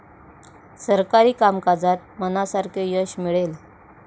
सरकारी कामकाजात मनासारखे यश मिळेल.